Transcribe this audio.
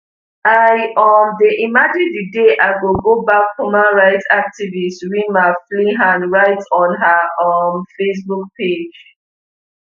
i um dey imagine di day i go go back human rights activist rima flihan write on her um facebook page